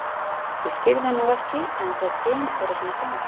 Ég skil það nú ekki en það kemur bara svona fram.